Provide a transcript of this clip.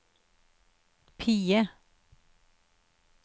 PIE